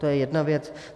To je jedna věc.